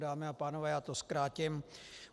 Dámy a pánové, já to zkrátím.